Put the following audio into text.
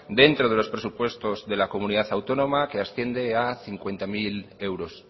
dentro de los presupuestos de la comunidad autónoma que asciende a cincuenta mil euros